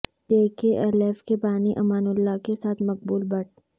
جے K L F کے بانی Amanullah کے ساتھ مقبول بٹ